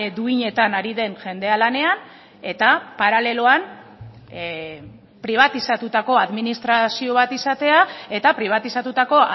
duinetan ari den jendea lanean eta paraleloan pribatizatutako administrazio bat izatea eta pribatizatutako